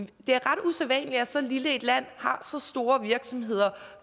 det er ret usædvanligt at så lille et land har så store virksomheder